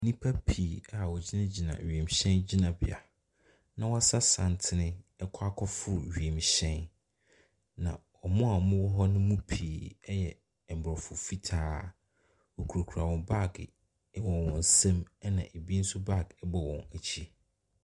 Nnipa pii a wogyina gyina ewiemhyɛn gyinabea. Na wasa santene ɛkɔ akɔ foro wiemhyɛn no. Na ɔmo a ɔmo wɔhɔ no pii ɛyɛ mmorɔfo fitaa. Wokura kura wɔn baag wɔ wɔn nsam ɛna ebi nso baag bɔ wɔn akyi.